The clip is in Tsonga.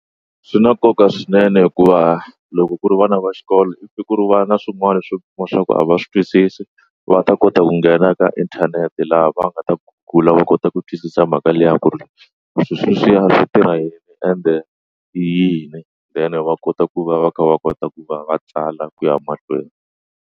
Swi na nkoka swinene hikuva loko ku ri vana va xikolo i ku va na swin'wana swo leswaku a va swi twisisi va ta kota ku nghena ka inthanete laha va nga ta Google-r laha va nga ta kota ku twisisa mhaka liya ku ri leswi swi ya switirha yini ende i yini then va kota ku va va kha va kota ku va va tsala ku ya mahlweni.